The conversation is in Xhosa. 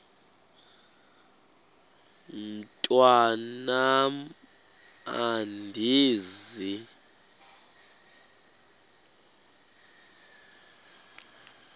mntwan am andizi